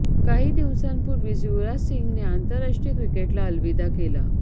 काही दिवसांपूर्वीच युवराज सिंहने आंतरराष्ट्रीय क्रिकेटला अलविदा केला